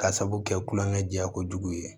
Ka sabu kɛ kulonkɛ jɛ ko jugu ye